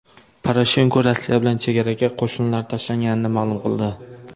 Poroshenko Rossiya bilan chegaraga qo‘shinlar tashlanganligini ma’lum qildi.